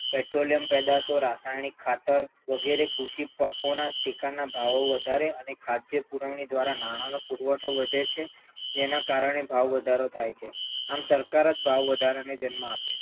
petroleum પેદાશો રાસાયણિક ખાતર વગેરે કૃષિ પાકોના ટેકાના ભાવો વધારે અને ખાદ્ય પુરવણી દ્વારા નાણાંનો પુરવઠો વધે છે જેનાં કારણે ભાવ વધારો થાય છે આમ, સરકાર જ ભાવ વધારાને જન્મ આપે છે